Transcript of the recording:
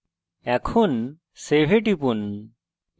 save এ টিপুন